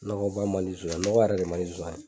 Nɔgɔba man di zonsan ye nɔgɔ yɛrɛ de man zonsan ye.